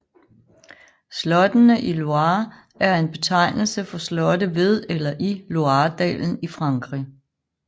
Slottene i Loire er en betegnelse for slotte ved eller i Loiredalen i Frankrig